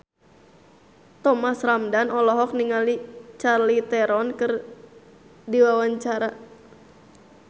Thomas Ramdhan olohok ningali Charlize Theron keur diwawancara